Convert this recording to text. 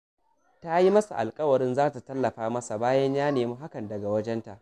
Ta yi masa alƙawarin za ta tallafa masa bayan ya nemi hakan daga wajenta